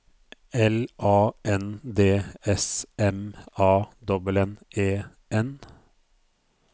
L A N D S M A N N E N